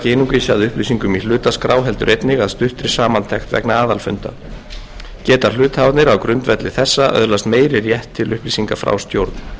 að upplýsingum í hlutaskrá heldur einnig að stuttri samantekt vegna aðalfunda geta hluthafarnir á grundvelli þessa öðlast meiri rétt til upplýsinga frá stjórn